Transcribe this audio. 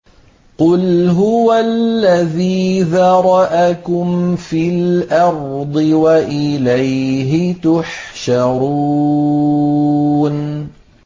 قُلْ هُوَ الَّذِي ذَرَأَكُمْ فِي الْأَرْضِ وَإِلَيْهِ تُحْشَرُونَ